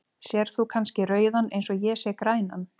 Sérð þú kannski rauðan eins og ég sé grænan?.